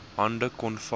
hande kon vat